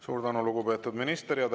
Suur tänu, lugupeetud minister!